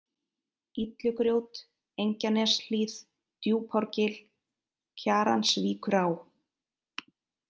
Illugrjót, Engjaneshlíð, Djúpárgil, Kjaransvíkurá